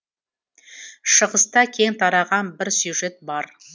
шығыста кең тараған бір сюжет бар